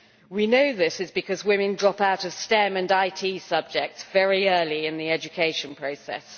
We know this is because women drop out of STEM and IT subjects very early in the education process.